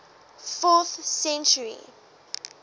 fourth century